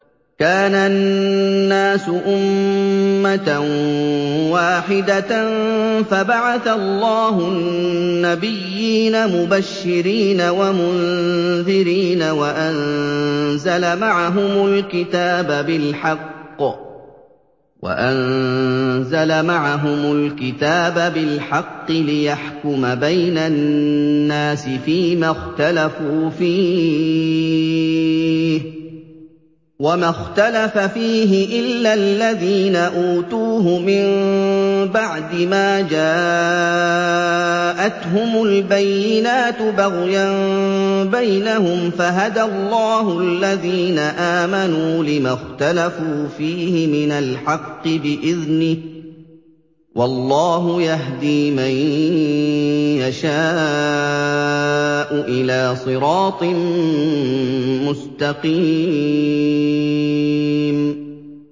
كَانَ النَّاسُ أُمَّةً وَاحِدَةً فَبَعَثَ اللَّهُ النَّبِيِّينَ مُبَشِّرِينَ وَمُنذِرِينَ وَأَنزَلَ مَعَهُمُ الْكِتَابَ بِالْحَقِّ لِيَحْكُمَ بَيْنَ النَّاسِ فِيمَا اخْتَلَفُوا فِيهِ ۚ وَمَا اخْتَلَفَ فِيهِ إِلَّا الَّذِينَ أُوتُوهُ مِن بَعْدِ مَا جَاءَتْهُمُ الْبَيِّنَاتُ بَغْيًا بَيْنَهُمْ ۖ فَهَدَى اللَّهُ الَّذِينَ آمَنُوا لِمَا اخْتَلَفُوا فِيهِ مِنَ الْحَقِّ بِإِذْنِهِ ۗ وَاللَّهُ يَهْدِي مَن يَشَاءُ إِلَىٰ صِرَاطٍ مُّسْتَقِيمٍ